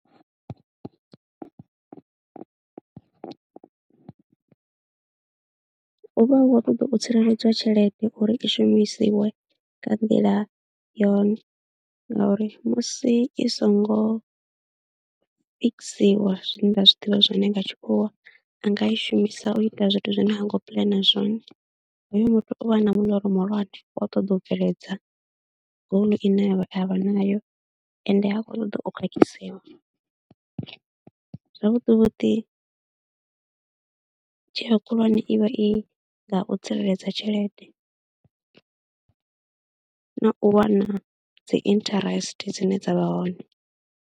Hu vha uh khou ṱoḓa u tsireledziwa tshelede uri i shumisiwe nga nḓila yone ngauri musi i songo fikisiwa zwine nda zwi ḓivha zwone nga tshikhuwa a nga shumisa u ita zwithu zwine ha ngo puḽana zwone. Hoyo muthu u vha na muḽoro muhulwane wa u ṱoḓa u bveledza goal ine a vha nayo ende ha khou ṱoḓa o khakhisiwa. Zwavhuḓi vhuḓi tsheo khulwane i vha i nga u tsireledza tshelede na u wana dzi interest dzine dza vha hone.